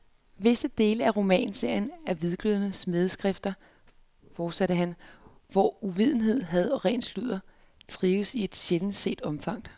Visse dele af romanserien er hvidglødende smædeskrifter, fortsatte han, hvor uvidenhed, had og ren sludder trives i et sjældent set omfang.